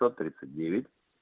сто тридцать девять